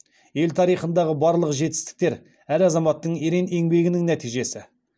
ел тарихындағы барлық жетістіктер әр азаматтың ерен еңбегінің нәтижесі